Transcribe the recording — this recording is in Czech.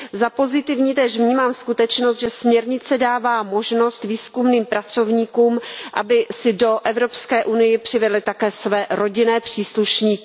Za pozitivní též vnímám skutečnost, že směrnice dává možnost výzkumným pracovníkům, aby si do Evropské unie přivedli také své rodinné příslušníky.